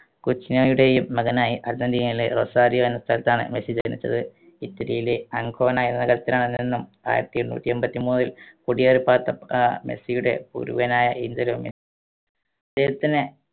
ക്യൂച്ചിനോയുടെയും മകനായി അർജന്റീനയിലെ റൊസാരിയോ എന്ന സ്ഥലത്താണ് മെസ്സി ജനിച്ചത് ഇറ്റലിയിലെ അങ്കോണ ആയിരത്തി എണ്ണൂറ്റി എമ്പത്തി മൂന്നിൽ കുടിയേറി പാർത്ത ആഹ് മെസ്സിയുടെ പൂർവികനായ ആഞ്ചലോ മെസ്സി